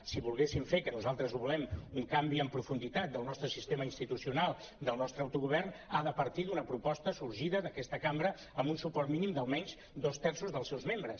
si volguessin fer que nosaltres ho volem un canvi en profunditat del nostre sistema institucional del nostre autogovern ha de partir d’una proposta sorgida d’aquesta cambra amb un suport mínim d’almenys dos terços dels seus membres